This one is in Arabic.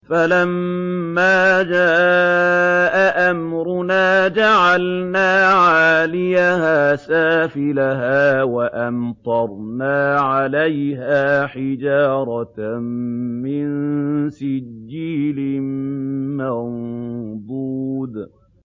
فَلَمَّا جَاءَ أَمْرُنَا جَعَلْنَا عَالِيَهَا سَافِلَهَا وَأَمْطَرْنَا عَلَيْهَا حِجَارَةً مِّن سِجِّيلٍ مَّنضُودٍ